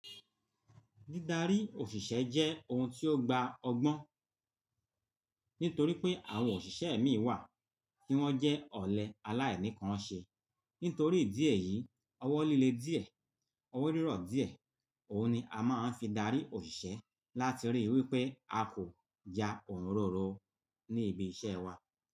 Dídarí òṣìṣẹ́ jẹ́ ohun tí ó gba ọgbọ́n, nítorí pé àwọn òṣìṣẹ́ ẹ̀mí wà tí wọ́n jẹ́ ọ̀lẹ aláìníkanṣe. Nítorí ìdí èyí, ọwọ́ líle díẹ̀, ọwọ́ rírọ̀ díẹ̀, òhun ni a máa ń fi darí òṣìṣẹ́ láti ríi wí pé a kò ja òǹroro ní ibi iṣẹ́ wa.